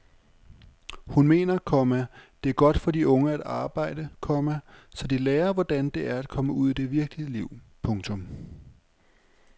Hun mener, komma det er godt for de unge at arbejde, komma så de lærer hvordan det er at komme ud i det virkelige liv. punktum